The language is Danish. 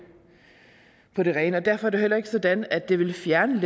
på det rene og derfor det heller ikke sådan at det vil fjerne